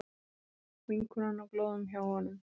Vinkonan á glóðum hjá honum.